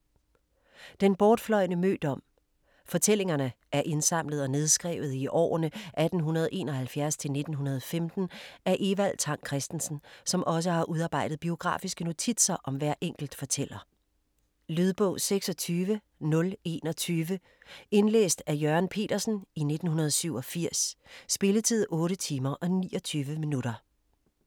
Den bortfløjne mødom Fortællingerne er indsamlet og nedskrevet i årene 1871-1915 af Evald Tang Kristensen, som også har udarbejdet biografiske notitser om hver enkelt fortæller. Lydbog 26021 Indlæst af Jørgen Petersen, 1987. Spilletid: 8 timer, 29 minutter.